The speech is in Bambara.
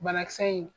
Banakisɛ in